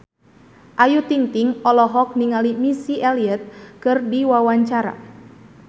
Ayu Ting-ting olohok ningali Missy Elliott keur diwawancara